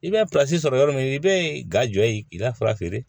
I bɛ sɔrɔ yɔrɔ min i bɛ ga jɔ ye k'i ka fura feere